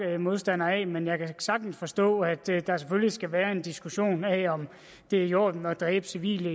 modstander af men jeg kan sagtens forstå at der selvfølgelig skal være en diskussion af om det er i orden at dræbe civile